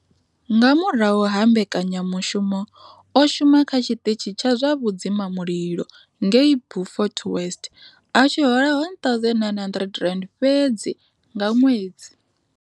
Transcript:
Nga murahu ha mbekanya mushumo, o shuma kha tshiṱitshi tsha zwa vhudzima mulilo ngei Beaufort West a tshi hola R1 900 fhedzi nga ṅwedzi.